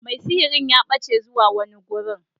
Mai sihiri ya bace zuwa wani gurin.